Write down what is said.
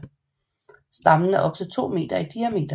Stammen er op til 2 meter i diameter